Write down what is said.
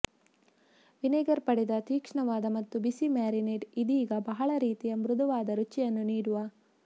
vinegar ಪಡೆದ ತೀಕ್ಷ್ಣವಾದ ಮತ್ತು ಬಿಸಿ ಮ್ಯಾರಿನೇಡ್ ಇದೀಗ ಬಹಳ ರೀತಿಯ ಮೃದುವಾದ ರುಚಿಯನ್ನು ನೀಡುವ